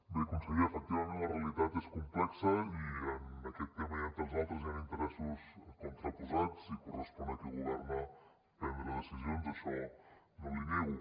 bé conseller efectivament la realitat és complexa i en aquest tema i en tants altres hi ha interessos contraposats i correspon a qui governa prendre decisions això no l’hi nego